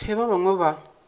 ge bana ba bangwe ba